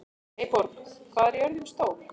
Eyborg, hvað er jörðin stór?